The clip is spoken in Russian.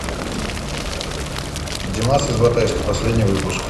димас из батайска последний выпуск